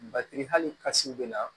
Batiri hali kasiw bɛ na